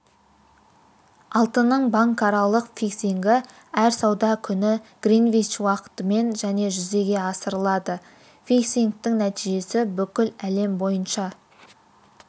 алтынның банкаралық фиксингі әр сауда күні гринвич уақытымен және жүзеге асырылады фиксингтің нәтижесі бүкіл әлем бойынша